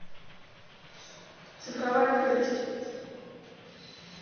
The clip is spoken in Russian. цифровая крепость